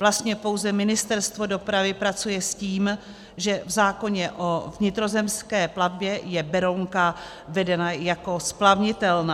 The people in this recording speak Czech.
Vlastně pouze Ministerstvo dopravy pracuje s tím, že v zákoně o vnitrozemské plavbě je Berounka vedena jako splavnitelná.